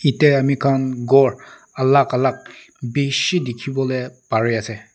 ete ami khan ghor alag alag bishi dikhi bole pari ase.